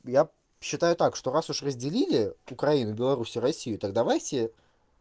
я считаю так что раз уж разделили украину беларусь и россию так давайте